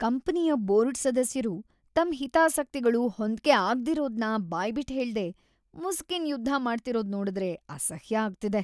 ಕಂಪನಿಯ ಬೋರ್ಡ್ ಸದಸ್ಯರು ತಮ್ ಹಿತಾಸಕ್ತಿಗಳು ಹೊಂದ್ಕೆ ಆಗ್ದಿರೋದ್ನ ಬಾಯ್ಬಿಟ್‌ ಹೇಳ್ದೆ ಮುಸುಕಿನ್‌ ಯುದ್ಧ ಮಾಡ್ತಿರೋದ್ ನೋಡುದ್ರೆ‌ ಅಸಹ್ಯ ಆಗ್ತಿದೆ.